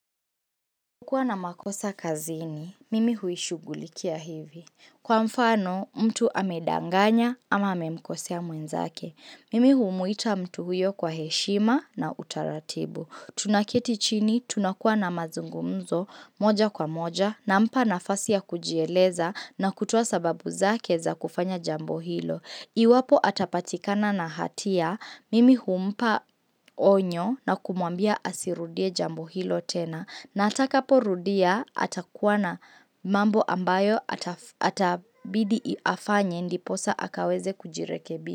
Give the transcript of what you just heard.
Kuwa na makosa kazini, mimi huishughulikia hivi. Kwa mfano, mtu amedanganya ama amemkosea mwenzake. Mimi humuita mtu huyo kwa heshima na utaratibu. Tunaketi chini, tunakuwa na mazungumzo, moja kwa moja, nampa nafasi ya kujieleza na kutoa sababu zake za kufanya jambo hilo. Iwapo atapatikana na hatia, mimi humpa onyo na kumwambia asirudie jambo hilo tena. Na atakaporudia atakuwa na mambo ambayo itabidi afanye ndiposa akaweze kujirekebisha.